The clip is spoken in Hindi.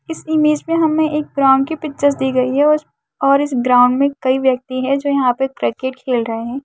इस इमेज पे हमे एक ग्राउन्ड की पिक्चर दी गयी है और इस और इस ग्राउन्ड मे कई व्यक्ति है जो यंहा पे क्रिकेट खेल रहे है।